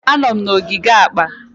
Anọ m na ogige akpa.